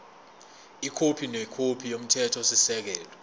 ikhophi nekhophi yomthethosisekelo